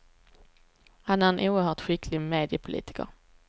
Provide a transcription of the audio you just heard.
Han är en oerhört skicklig mediepolitiker.